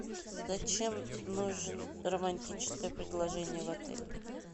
зачем нужен романтическое предложение в отеле